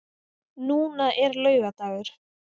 Núna er laugardagur.